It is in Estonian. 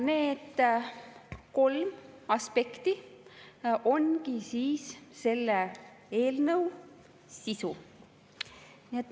Need kolm aspekti ongi siis selle eelnõu sisu.